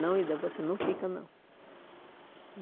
Não, Ida, você não fica, não.